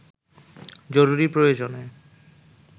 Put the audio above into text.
জরুরি প্রয়োজনে